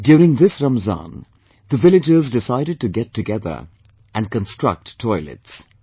During this Ramzan the villagers decided to get together and construct toilets